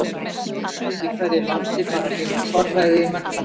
Stjórnvöld í hverju landi fara því með forræði í menntamálum.